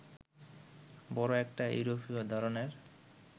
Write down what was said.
বড় একটা ইউরোপীয় ধরনের